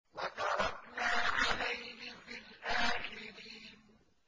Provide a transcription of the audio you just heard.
وَتَرَكْنَا عَلَيْهِ فِي الْآخِرِينَ